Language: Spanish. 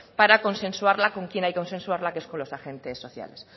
para consensuarla con quien hay que consensuarla que es con los agentes sociales